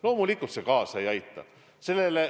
Loomulikult see kaasa ei aita.